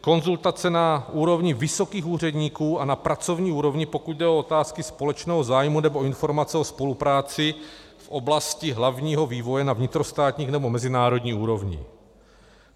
Konzultace na úrovni vysokých úředníků a na pracovní úrovni, pokud jde o otázky společného zájmu, nebo informace o spolupráci v oblasti hlavního vývoje na vnitrostátní nebo mezinárodní úrovni.